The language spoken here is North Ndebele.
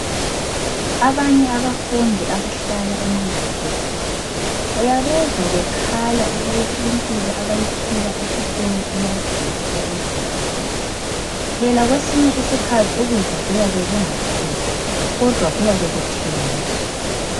Abanye abafundi abahlala ema university uyabezwa bekhala ukuthi impilo abayiphila esikolo iyadula okumangalisayo. Phela kwesinye isikhathi ukudla kuyabe kungaphekwa kodwa kuyabe kuthengiswa.